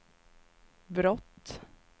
brott